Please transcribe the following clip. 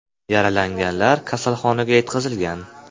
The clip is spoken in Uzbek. Yaralanganlar kasalxonaga yetkazilgan.